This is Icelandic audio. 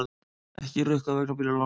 Ekki rukkað vegna bílalána